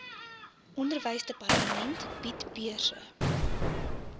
onderwysdepartement bied beurse